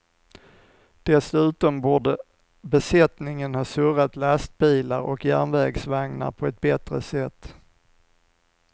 Dessutom borde besättningen ha surrat lastbilar och järnvägsvagnar på ett bättre sätt.